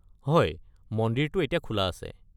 হয়, মন্দিৰটো এতিয়া খোলা আছে।